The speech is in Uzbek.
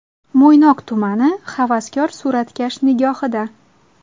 Mo‘ynoq tumani havaskor suratkash nigohida.